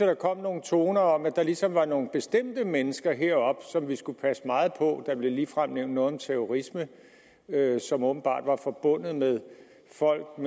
der kom nogle toner om at der ligesom var nogle bestemte mennesker heroppe som vi skulle passe meget på der blev ligefrem nævnt noget om terrorisme som åbenbart var forbundet med folk